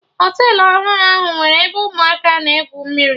Họtelụ ọhụrụ ahụ nwere ebe ụmụaka na egwu mmiri